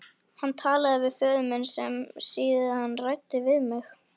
Hann talaði við föður minn sem síðan ræddi við mig.